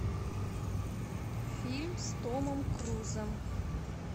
фильм с томом крузом